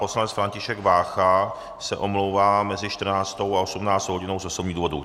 Poslanec František Vácha se omlouvá mezi 14. a 18. hodinou z osobních důvodů.